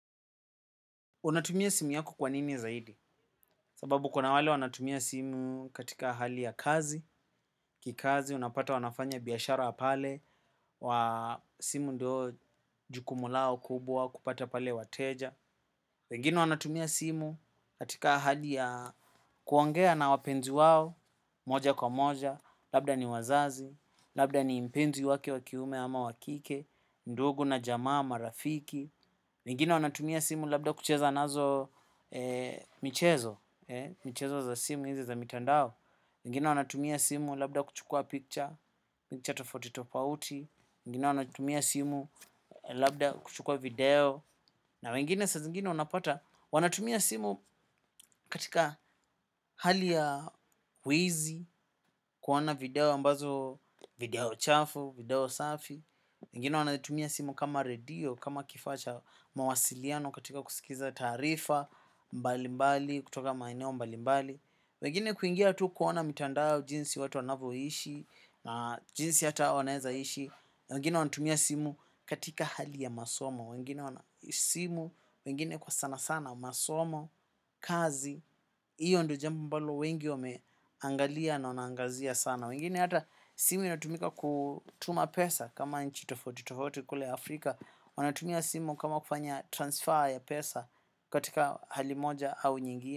Unatumia simu yako kwanini zaidi? Sababu kuna wale wanatumia simu katika hali ya kazi, kikazi unapata wanafanya biashara pale, wa simu ndo jukumu lao kubwa, kupata pale wateja. Pengine wanatumia simu katika hali ya kuongea na wapenzi wao, moja kwa moja, labda ni wazazi, labda ni mpenzi wake wa kiume ama wa kike, ndugu na jamaa, marafiki. Wengine wanatumia simu labda kucheza nazo michezo. Michezo za simu hizi za mitandao wengine wanatumia simu labda kuchukua picture, picture tofauti tofauti. Wengine wanatumia simu, labda kuchukua video na wengine saa zingine unapata wanatumia simu katika hali ya wizi. Kuona video ambazo, video chafu, video safi, wengini wanaitumia simu kama radio, kama kifaa cha mawasiliano katika kusikiza taarifa, mbali mbali, kutoka maeneo mbali mbali. Wengine kuingia tu kuona mitandao jinsi watu wanavyoishi, na jinsi hata hao wanaweza ishi, wengine wanatumia simu katika hali ya masomo, wengine wana simu, wengine kwa sana sana masomo, kazi, iyo ndo jambo ambalo wengi wameangalia na wanaangazia sana. Wengine hata simu inatumika kutuma pesa kama nchi tofauti tofauti kule Afrika. Wanatumia simu kama kufanya transfer ya pesa katika hali moja au nyingine.